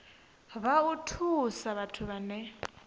na u thusa vhathu vhane